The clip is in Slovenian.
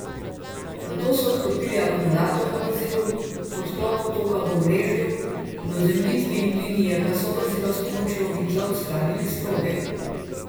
Nato so odklopili akumulator na vozilu, po odklopu toka v omrežju in ozemljitvi linije pa so vozilo s pomočjo vitla odstranili s proge.